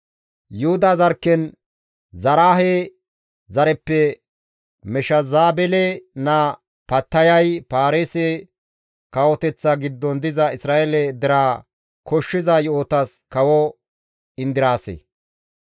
Yuhuda zarkken Zaraahe zareppe Meshezabele naa Pattayay Paarise kawoteththa giddon diza Isra7eele deraa koshshiza yo7otas kawo indiraase.